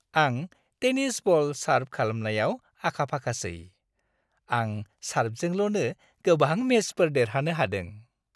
आं tennis ball सार्भ खालामनायाव आखाफाखासै। आं सार्भजोंल'नो गोबां मेचफोर देरहानो हादों।